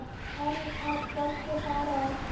ein af fólki Faraó